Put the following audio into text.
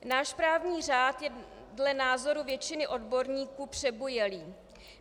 Náš právní řád je dle názory většiny odborníků přebujelý.